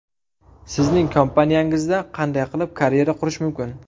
Sizning kompaniyangizda qanday qilib karyera qurish mumkin?